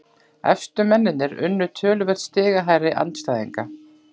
Efstu mennirnir unnu töluvert stigahærri andstæðinga